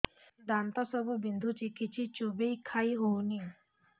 ଦାନ୍ତ ସବୁ ବିନ୍ଧୁଛି କିଛି ଚୋବେଇ ଖାଇ ହଉନି